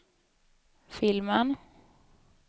filmen